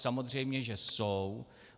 Samozřejmě že jsou.